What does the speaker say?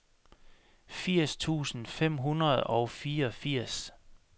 firs tusind fem hundrede og fireogfirs